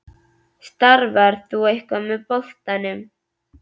Starfar þú eitthvað með boltanum?